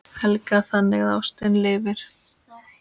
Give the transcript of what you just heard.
Helga: Þannig að ástin lifir?